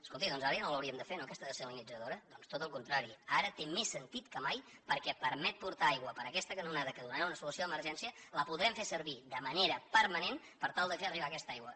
escolti’m doncs ara ja no l’hauríem de fer no aquesta dessalinitzadora doncs tot el contrari ara té més sentit que mai perquè permet portar aigua per aquesta canonada que donarà una solució d’emergència la podrem fer servir de manera permanent per tal de fer arribar aquesta aigua